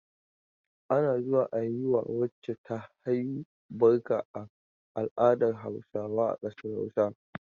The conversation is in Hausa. Ana zuwa a yi wa wacce ta haihu barka a al'adar Hausawa a ƙasar Hausa.